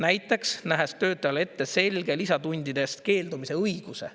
Näiteks, nähes töötajale ette selge lisatundidest keeldumise õiguse.